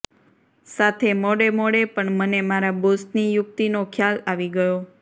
સાથે મોડે મોડે પણ મને મારા બોસની યુક્તિનો ખ્યાલ આવી ગયો